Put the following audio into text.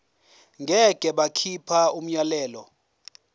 ngeke bakhipha umyalelo